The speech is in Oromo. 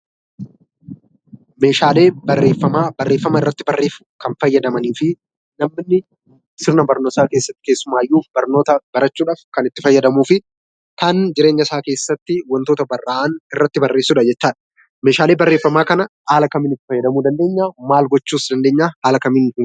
Meeshaalee Barreeffamaa, barreefama irratti barreessuuf kan fayyadamanii fi namoonni sirna barnootaa keessatti keessumaayyuu barnoota barachuudhaaf kan itti fayyadamuu fi kan jireenya isaa keessatti wantoota barraa'an irratti barreessudha jechuudha. Meeshaalee Barreeffamaa kana haala kamiin itti fayyadamuu dandeenya? Maal gochuus dandeenya?